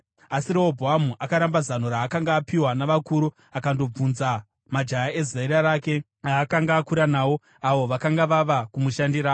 Asi Rehobhoamu akaramba zano raakanga apiwa navakuru akandobvunza majaya ezera rake aakanga akura nawo, avo vakanga vava kumushandira.